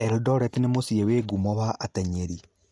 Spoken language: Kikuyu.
Eldoret nĩ mũciĩ wĩ ngumo wa atenyeri.